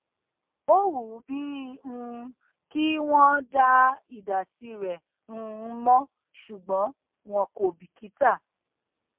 ó wù ú bí um i kí wọn dá ìdásí rẹ um mọ ṣùgbọn wọn kò bìkítà